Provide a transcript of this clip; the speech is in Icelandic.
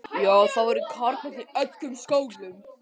Jú, það voru karamellur í öllum skónum.